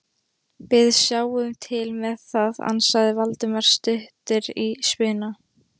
Við sjáum til með það- ansaði Valdimar stuttur í spuna.